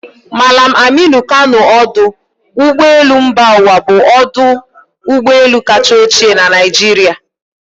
Mallam Aminu Kano Ódu Ụgbọelu mba uwa bụ ọdụ ụgbọelu kacha ochie na Naịjirịa.